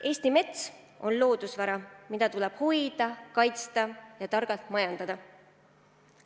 Eesti mets on loodusvara, mida tuleb hoida, kaitsta ja targalt majandada.